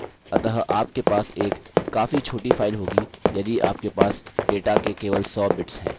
अतः आपके पास एक काफी छोटी फाइल होगी यदि आपके पास डेटा के केवल सौ bits हैं